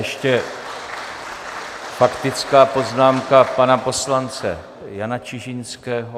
Ještě faktická poznámka pana poslance Jana Čižinského.